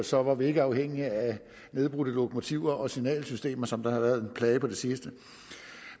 så var vi ikke afhængige af nedbrudte lokomotiver og signalsystemer som har været en plage på det seneste